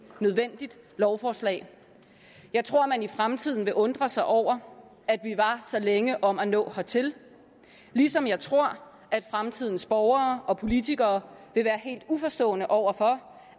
nødvendigt lovforslag jeg tror at man i fremtiden vil undre sig over at vi var så længe om at nå hertil ligesom jeg tror at fremtidens borgere og politikere vil være helt uforstående over for